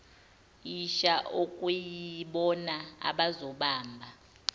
isha okuyibona abazobamba